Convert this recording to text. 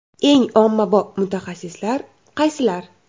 Eng ommabop mutaxassisliklar qaysilar?.